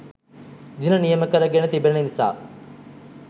දින නියමකරගෙන තිබෙන නිසා